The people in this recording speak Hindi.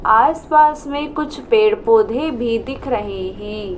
आसपास में कुछ पेड़ पौधे भी दिख रहे हैं।